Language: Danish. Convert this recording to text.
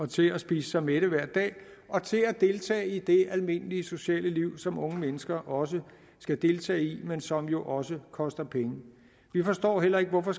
til at spise sig mætte hver dag og til at deltage i det almindelige sociale liv som unge mennesker også skal deltage i men som jo også koster penge vi forstår heller ikke hvorfor